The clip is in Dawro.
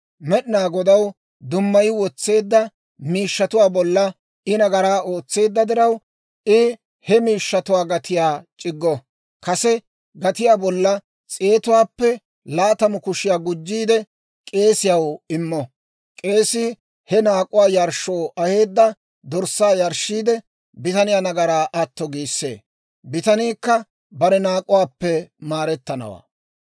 Med'inaa Godaw dummayi wotseedda miishshatuwaa bolla I nagaraa ootseedda diraw, I he miishshatuwaa gatiyaa c'iggo; kase gatiyaa bolla s'eetuwaappe laatamu kushiyaa gujjiide k'eesiyaw immo. K'eesii he naak'uwaa yarshshoo aheedda dorssaa yarshshiide, bitaniyaa nagaraa atto giissee; bitaniikka bare naak'uwaappe maarettanawaa.